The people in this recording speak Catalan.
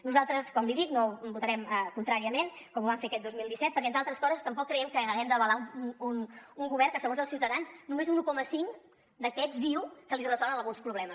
nosaltres com li dic votarem contràriament com ho vam fer aquest dos mil disset perquè entre altres coses tampoc creiem que hàgim d’avalar un govern que segons els ciutadans només un un coma cinc d’aquests diu que li resol alguns problemes